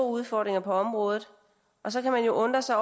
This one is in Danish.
udfordringer på området så kan man jo undre sig